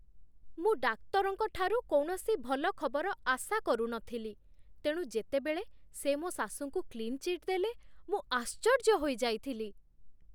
ମୁଁ ଡାକ୍ତରଙ୍କ ଠାରୁ କୌଣସି ଭଲ ଖବର ଆଶା କରୁନଥିଲି, ତେଣୁ ଯେତେବେଳେ ସେ ମୋ ଶାଶୁଙ୍କୁ କ୍ଲିନ୍ ଚିଟ୍ ଦେଲେ, ମୁଁ ଆଶ୍ଚର୍ଯ୍ୟ ହୋଇଯାଇଥିଲି।